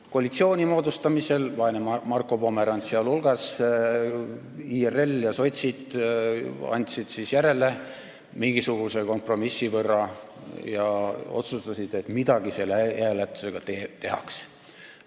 Koalitsiooni moodustamisel, vaene Marko Pomerants teiste hulgas, andsid IRL ja sotsid järele mingisuguse kompromissi võrra ja otsustasid, et midagi selle e-hääletusega tehakse.